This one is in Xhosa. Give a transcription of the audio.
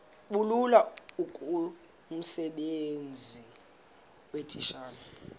bulula kumsebenzi weetitshala